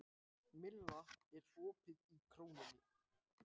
Milla, er opið í Krónunni?